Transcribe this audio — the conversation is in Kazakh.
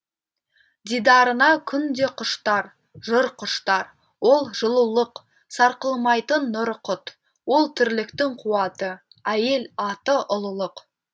дидарына күн де құштар жыр құштар ол жылулық сарқылмайтын нұры құт ол тірліктің қуаты әйел аты ұлылық